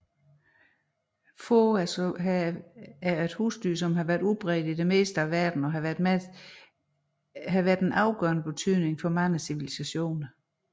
Som husdyr er får udbredt i det meste af verden og har været af afgørende betydning for mange civilisationer